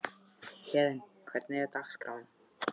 Héðinn, hvernig er dagskráin?